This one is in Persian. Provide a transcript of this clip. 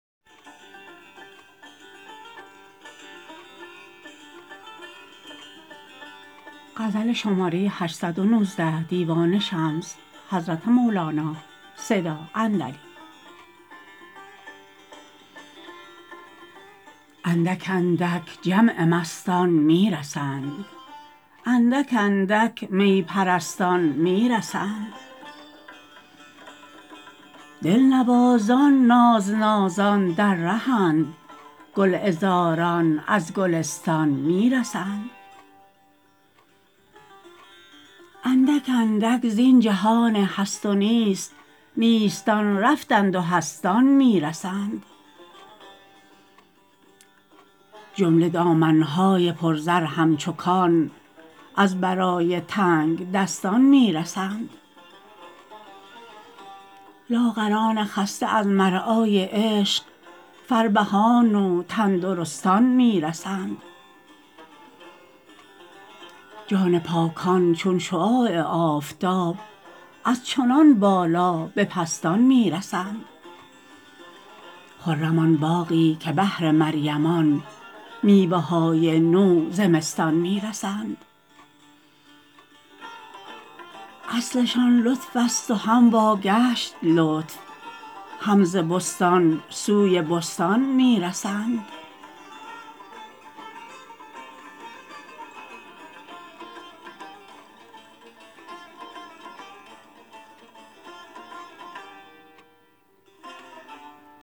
اندک اندک جمع مستان می رسند اندک اندک می پرستان می رسند دلنوازان نازنازان در ره اند گلعذاران از گلستان می رسند اندک اندک زین جهان هست و نیست نیستان رفتند و هستان می رسند جمله دامن های پرزر همچو کان از برای تنگدستان می رسند لاغران خسته از مرعای عشق فربهان و تندرستان می رسند جان پاکان چون شعاع آفتاب از چنان بالا به پستان می رسند خرم آن باغی که بهر مریمان میوه های نو زمستان می رسند اصلشان لطفست و هم واگشت لطف هم ز بستان سوی بستان می رسند